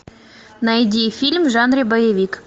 найди фильм в жанре боевик